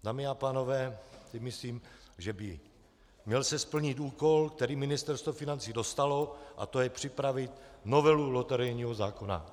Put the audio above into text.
Dámy a pánové, myslím, že by se měl splnit úkol, který Ministerstvo financí dostalo, a to je připravit novelu loterijního zákona.